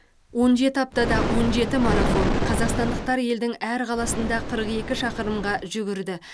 он жеті аптада он жеті марафон қазақстандықтар елдің әр қаласында қырық екі шақырымға жүгірді